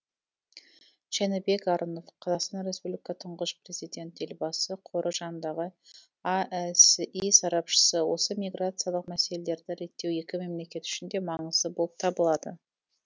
жәнібек арынов қазақстан республикасы тұңғыш президент елбасы қоры жанындағы аэси сарапшысы осы миграциялық мәселелерді реттеу екі мемлекет үшін де маңызды болып табылады